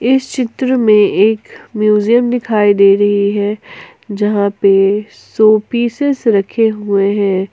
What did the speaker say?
इस चित्र में एक म्यूजियम दिखाई दे रही हैं जहां पे शो पीसेस रखे हुए हैं।